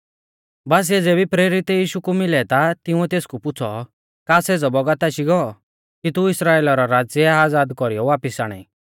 बासीऐ ज़ेबी प्रेरित यीशु कु मिलै ता तिंउऐ तेसकु पुछ़ौ का सेज़ौ बौगत आशी गौ कि तू इस्राइला रौ राज़्य आज़ाद कौरीयौ वापिस आणाई